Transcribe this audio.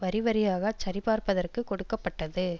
வரிவரியாகச் சரிபார்ப்பதற்குக் கொடுக்க பட்டது